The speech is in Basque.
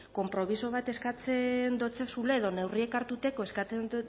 konpromiso bat eskatzen dotzezula edo neurriak hartzea eskatzen